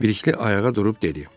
Bilikli ayağa durub dedi: